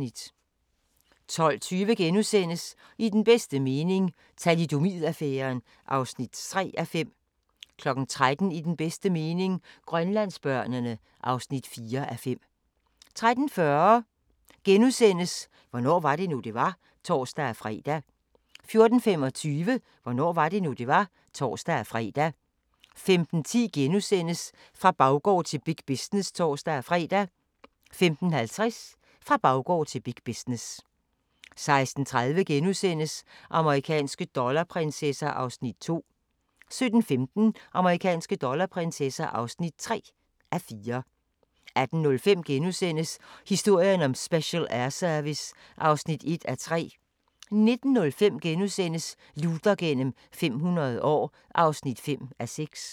12:20: I den bedste mening – Thalidomid-affæren (3:5)* 13:00: I den bedste mening – Grønlandsbørnene (4:5) 13:40: Hvornår var det nu, det var? *(tor-fre) 14:25: Hvornår var det nu, det var? (tor-fre) 15:10: Fra baggård til big business *(tor-fre) 15:50: Fra baggård til big business 16:30: Amerikanske dollarprinsesser (2:4)* 17:15: Amerikanske dollarprinsesser (3:4) 18:05: Historien om Special Air Service (1:3)* 19:05: Luther gennem 500 år (5:6)*